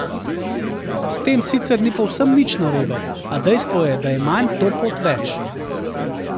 S tem sicer ni povsem nič narobe, a dejstvo je, da je manj to pot več.